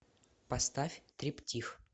поставь триптих